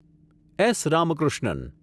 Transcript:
S. Ramakrishnan